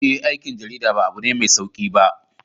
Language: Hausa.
Eh, aikin jarida ba abu ne mai sauki ba.